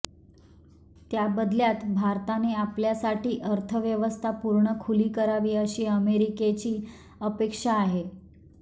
त्याबदल्यात भारताने आपल्यासाठी अर्थव्यवस्था पूर्ण खुली करावी अशी अमेरिकेची अपेक्षा आहे